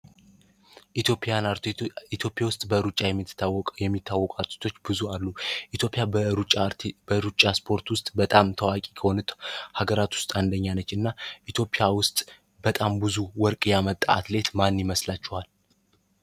ኢትዮጵያ ውያን አትሌቶች ኢትዮጵያ ውስጥ በብዙ የሚታወቁ አትሌቶች አሉ ኢትዮጵያ ሩጫ ሰፖርት ውስጥ በጣም ታዋቂ ከሆኑት አገሮች ውስጥ አንደኛዋ ናት እና ኢትዮጵያ ውስጥ በጣም ብዙ ወርቅ ያመጣ አትሌት ማን ይመስላቸዋል?